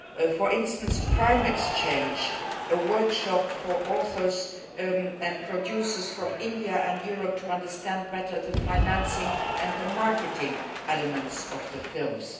For instance Prime Exchange, a workshop for authors and producers from India and Europe, to understand better the financing and the marketing elements of films.